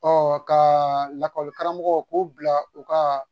ka lakɔli karamɔgɔ k'o bila u ka